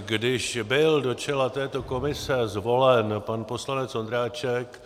Když byl do čela této komise zvolen pan poslanec Ondráček